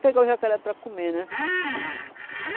pegar o jacaré para comer, né?